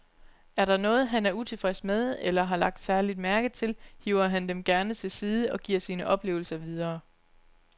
Er der noget, han er utilfreds med eller har lagt særlig mærke til, hiver han dem gerne til side og giver sine oplevelser videre.